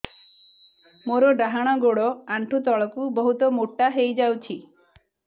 ମୋର ଡାହାଣ ଗୋଡ଼ ଆଣ୍ଠୁ ତଳକୁ ବହୁତ ମୋଟା ହେଇଯାଉଛି